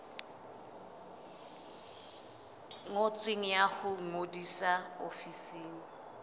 ngotsweng ya ho ngodisa ofising